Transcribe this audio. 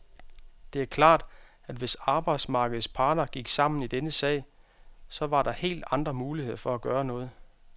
Det er klart, at hvis arbejdsmarkedets parter gik sammen i denne sag, så var der helt andre muligheder for at gøre noget.